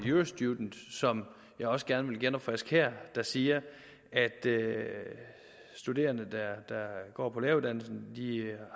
eurostudent som jeg også gerne vil genopfriske her der siger at studerende der går på læreruddannelsen